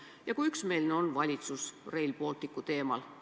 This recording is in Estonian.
Ja kui üksmeelne on valitsus Rail Balticu suhtes?